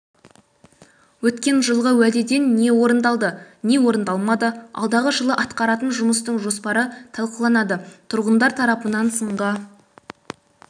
өткен жылғы уәдеден не орындалды не орындалмады алдағы жылы атқаратын жұмыстың жоспары талқыланады тұрғындар тарапынан сынға